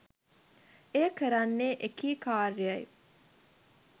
එය කරන්නේ එකී කාර්යයි